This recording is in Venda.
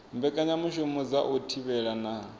mbekanyamushumo dza u thivhela na